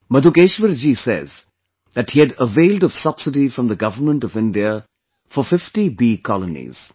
Madhukeshwar ji says that he had availed of subsidy from the Government of India for 50 bee colonies